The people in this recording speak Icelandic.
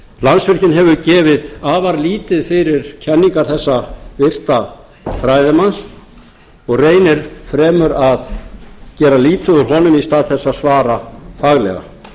landsvirkjun hefur gefið afar lítið fyrir kenningar þessa virta fræðimanns og reynir fremur að gera lítið úr honum í stað þess að svara faglega